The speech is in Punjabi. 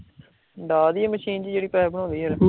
ਡਾ ਦੀਏ ਮਸ਼ੀਨ ਜੀ ਜੇੜੀ ਪੇਪ ਬਣਾਉਂਦੀ ਐ